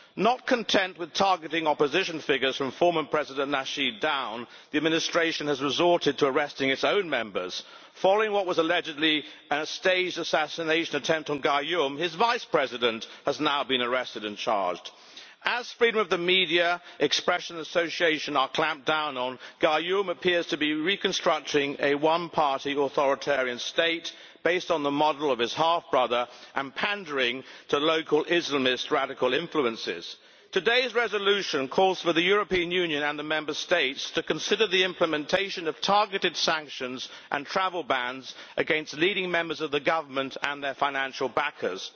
Not content with targeting opposition figures from former President Nasheed down, the administration has resorted to arresting its own members. Following what was allegedly a staged assassination attempt on Gayoom, his Vice President has now been arrested and charged. As freedom of the media, expression and association are clamped down on, Gayoom appears to be reconstructing a one-party authoritarian state, based on the model of his half brother, and pandering to local Islamist radical influences. Today's resolution calls for the European Union and the Member States to consider the implementation of targeted sanctions and travel bans against leading members of the Government and their financial backers.